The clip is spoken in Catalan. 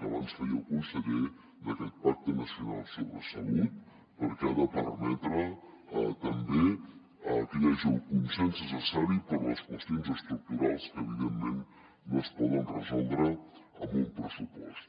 que abans feia el conseller d’aquest pacte nacional sobre salut perquè ha de permetre també que hi hagi el consens necessari per a les qüestions estructurals que evidentment no es poden resoldre amb un pressupost